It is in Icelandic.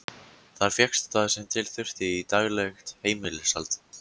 Þar fékkst það sem til þurfti í daglegt heimilishald.